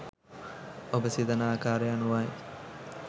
ඔබ සිතන ආකාරය අනුවයි.